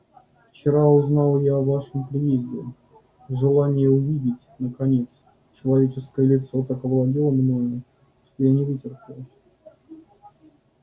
вчера узнал я о вашем приезде желание увидеть наконец человеческое лицо так овладело мною что я не вытерпел